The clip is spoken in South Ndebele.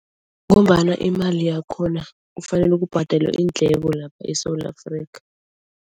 Ngombana imali yakhona kufanele kubhadelwe iindleko lapha eSewula Afrika.